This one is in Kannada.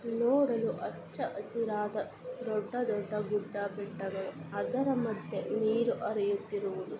ನೋಡಲು ಹಚ್ಚ ಹಸಿರಾದ ದೊಡ್ಡ ದೊಡ್ಡ ಗುಡ್ಡ ಬೆಟ್ಟಗಳು ಅದರ ಮದ್ಯೆ ನೀರು ಹರಿಯುತ್ತಿರುವುದು.